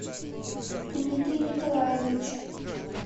дмитрий николаевич